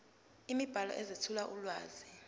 imibhalo ezethula ulwazi